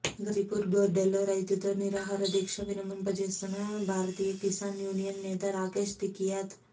ఘాజీపూర్ బోర్డర్లో రైతుతో నిరాహార దీక్ష విరమింపజేస్తున్న భారతీయ కిసాన్ యూనియన్ నేత రాకేశ్ తికీయత్